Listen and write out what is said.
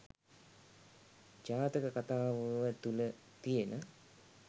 ජාතක කථාව තුළ තියෙන